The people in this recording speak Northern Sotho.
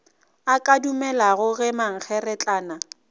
a ka dumelago ge mankgeretlana